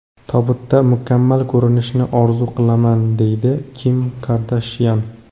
Tobutda mukammal ko‘rinishni orzu qilaman”, – deydi Kim Kardashyan.